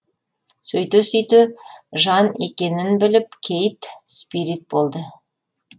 сөйте сөйте жан екенін біліп кейт спирит болды